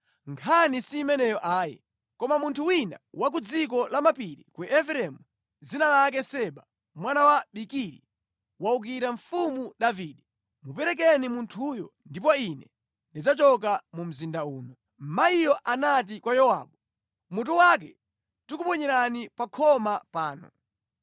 Nkhani simeneyo ayi. Koma munthu wina wa ku dziko lamapiri la Efereimu, dzina lake Seba mwana wa Bikiri, wawukira mfumu Davide. Muperekeni munthuyo ndipo ine ndidzachoka pa mzinda uno.” Mayiyo anati kwa Yowabu, “Mutu wake tikuponyerani pa khoma pano.”